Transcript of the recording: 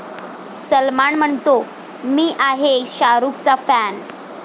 सलमान म्हणतो, 'मी आहे शाहरूखचा 'फॅन''